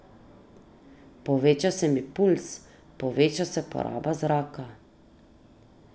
Poveča se mi pulz, poveča se poraba zraka ...